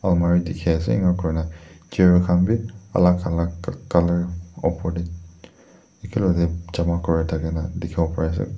almirah dikhi ase ena kurina chair khan bi alak alak colour opor tae jama kurithakina dikhiwo pare ase.